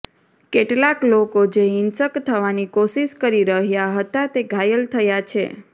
કેટલાક લોકો જે હિંસક થવાની કોશિશ કરી રહ્યા હતા તે ઘાયલ થયા છે